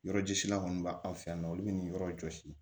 Yɔrɔjɔsila kɔni b'an fɛ yan nɔ olu bɛ nin yɔrɔ jɔsi